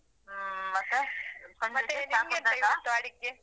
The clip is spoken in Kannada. ಹ್ಮ ಮತ್ತೆ .